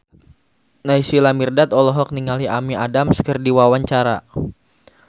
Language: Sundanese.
Naysila Mirdad olohok ningali Amy Adams keur diwawancara